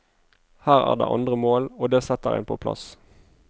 Her er det andre mål, og det setter en på plass.